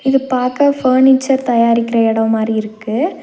இது பாக்க பர்னிச்சர் தயாரிக்கற எடோ மாறி இருக்கு.